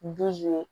Dusu